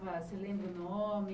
você lembra o nome?